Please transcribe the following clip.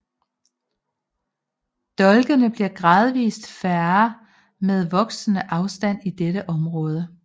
Dolkene bliver gradvist færre med voksende afstand til dette område